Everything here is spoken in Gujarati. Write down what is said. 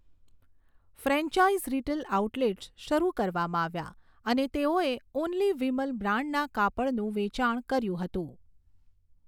ફ્રેન્ચાઇઝ રિટેલ આઉટલેટ્સ શરૂ કરવામાં આવ્યા અને તેઓએ ઓન્લી વિમલ બ્રાન્ડના કાપડનું વેચાણ કર્યું હતું.